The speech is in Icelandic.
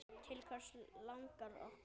Til hvers langar okkur?